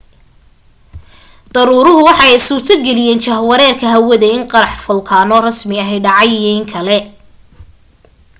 daruuruhu waxa ay suurto geliyen jahwareerka hawada in qarax folkaano rasmi ah dhacay iyo in kale